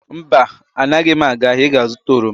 Mba, anaghị m aga ahịa ị ga-zụta oroma.